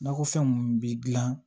Nakɔfɛn mun bi gilan